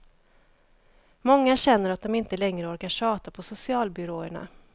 Många känner att de inte längre orkar tjata på socialbyråerna.